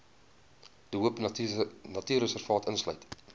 de hoopnatuurreservaat insluit